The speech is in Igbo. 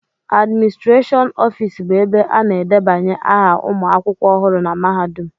Adịmịstrashịọn ọfịịsi bụ ebe a na-edebanye aha ụmụ akwụkwọ ọhụrụ na mahadum